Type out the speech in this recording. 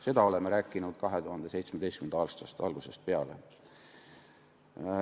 Seda me oleme rääkinud 2017. aasta algusest peale.